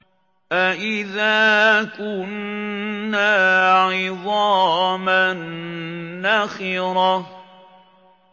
أَإِذَا كُنَّا عِظَامًا نَّخِرَةً